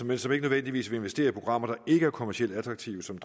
men som ikke nødvendigvis vil investere i programmer der ikke er kommercielt attraktive som